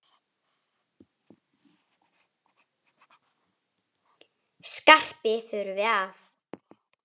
Skarpi þurfi að.